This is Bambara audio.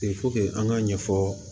an k'a ɲɛfɔ